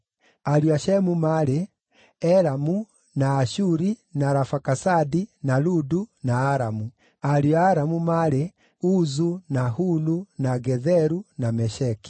Ariũ a Shemu maarĩ: Elamu, na Ashuri, na Arafakasadi, na Ludu, na Aramu. Ariũ a Aramu maarĩ: Uzu, na Hulu, na Getheru, na Mesheki.